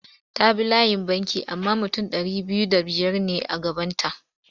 Ta bi layin banki amma mutum ɗari biyu da biyar ne a gabanta.